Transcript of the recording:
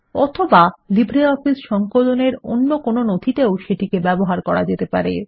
অথবা লিব্রিঅফিস সংকলনের অন্য কোনো নথিতেও সেটিকে ব্যবহার করা যেতে পারে